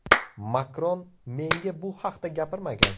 Makron menga bu haqda gapirmagan.